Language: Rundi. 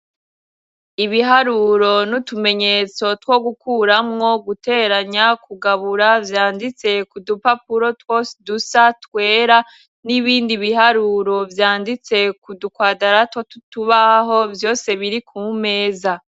Ibiharuro n'utumenyetso two gukuramwo guteranya kugabura vyanditse ku dupapuro twose dusa twera, n'ibindi biharuro vyanditse ku dukwadarato tw'utubaho vyose biri ku meza.